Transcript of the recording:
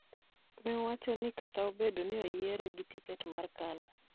ne owacho ni kata obedo ni ne oyiere gi tiket mar Kanu,